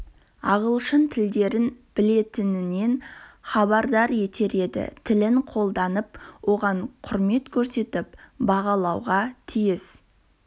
ағылшын тілдерін білетінінен хабардар етер еді тілін қолданып оған құрмет көрсетіп бағалауға тиіс